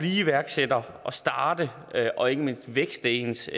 iværksætter og starte og ikke mindst vækste ens